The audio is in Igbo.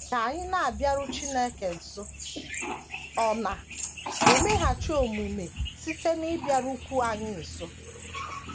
Ka anyị na - abịaru Chineke nso, ọ na - emeghachi omume site n’ịbịarukwu anyị nso.